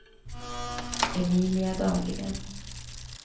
Emilia Dahlgren